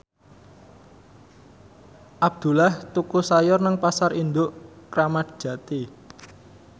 Abdullah tuku sayur nang Pasar Induk Kramat Jati